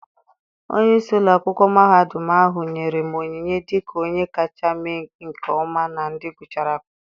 Onye isi ụlọ akwụkwọ mahadum ahụ nyere me onyinye dịka onye kacha mee nke ọma na ndị gụchara akwụkwọ.